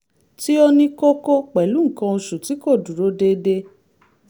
tí ó ní kókó pẹ̀lú nǹkan oṣù tí kò dúró déédé